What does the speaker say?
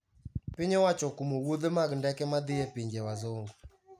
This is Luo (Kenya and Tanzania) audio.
Piny owacho okumo wuodhe mag ndeke madhi e pinje wazungu